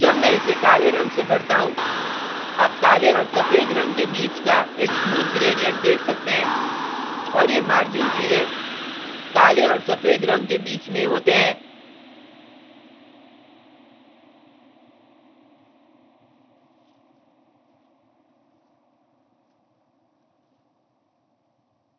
जब मैं इसे काले रंग से भरता हूँ आप काले और सफ़ेद रंग के बीच का एक smooth gradient देख सकते हैं और ये margin सिरे काले और सफ़ेद रंग के बीच में होते हैं